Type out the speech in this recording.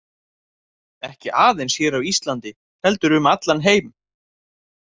Ekki aðeins hér á Íslandi heldur um allan heim.